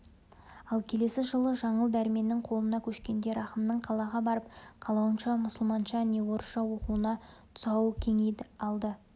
ал келесі жылы жаңыл дәрменнің қолына көшкенде рахымның қалаға барып қалауынша мұсылманша не орысша оқуына тұсауы кеңиді алды